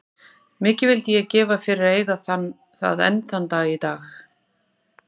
Mikið vildi ég gefa fyrir að eiga það enn þann dag í dag.